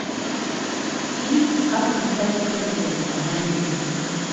фильм как не стать президентом найди